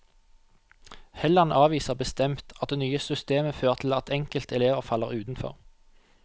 Helland avviser bestemt at det nye systemet fører til at enkelte elever faller utenfor.